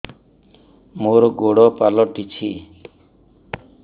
ମୋର ଗୋଡ଼ ପାଲଟିଛି